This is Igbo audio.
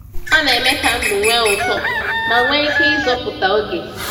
Ọ na-eme ka ndụ nwee ụtọ ma nwee ike ịzọpụta oge.